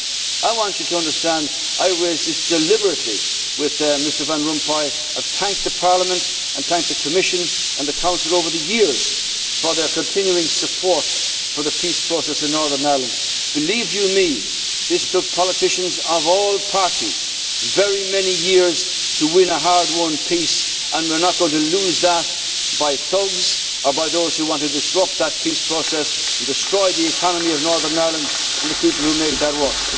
I want you to understand that I raised this deliberately with Mr Van Rompuy, and I have thanked Parliament, the Commission and the Council over the years for their continuing support for the peace process in Northern Ireland. Believe you me, this took politicians of all parties very many years to win a hard won peace, and we are not going to lose that because of thugs or by those who want to disrupt that peace process and destroy the economy of Northern Ireland and the people who make that